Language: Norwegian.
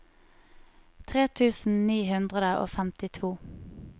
tre tusen ni hundre og femtito